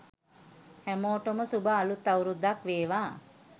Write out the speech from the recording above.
හැමෝටම සුභ අලුත් අවුරුද්දක් වේවා